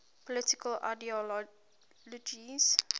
political ideologies